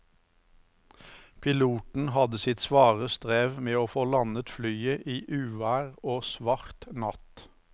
Piloten hadde sitt svare strev med å få landet flyet i uvær og svart natt.